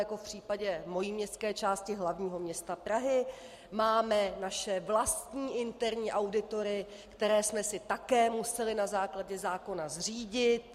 Jako v případě mojí městské části hlavního města Prahy máme naše vlastní interní auditory, které jsme si také museli na základě zákona zřídit.